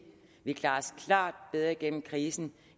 vi klarer os klart bedre igennem krisen